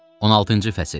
16-cı fəsil.